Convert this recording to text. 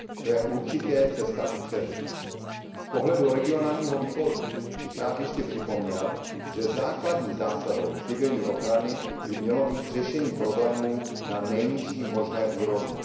To je určitě cesta kupředu. Z pohledu Výboru pro regionální rozvoj bych ještě rád připomněl, že základní zásadou civilní ochrany by mělo být řešení problémů na nejnižší možné úrovni.